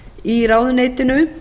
í ráðuneytinu